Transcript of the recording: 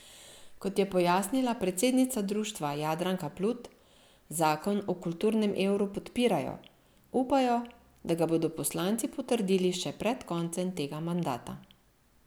Kot je pojasnila predsednica društva Jadranka Plut, zakon o kulturnem evru podpirajo, upajo, da ga bodo poslanci potrdili še pred koncem tega mandata.